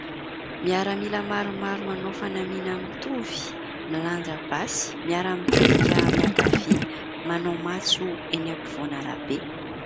Miaramila maromaro manao fanamiana mitovy, milanja basy miara-mitodika miankavia manao matso eny ampovoan'arabe.